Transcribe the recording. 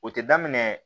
O tɛ daminɛ